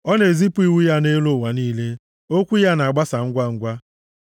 Ọ na-ezipụ iwu ya nʼelu ụwa niile; okwu ya na-agbasa ngwangwa.